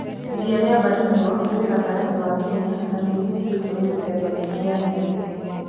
Iria rĩa Baringo rĩrĩ gatagatĩ wa Kenya na nĩ mũciĩ kũrĩ mĩthemba mĩingĩ ya nyoni.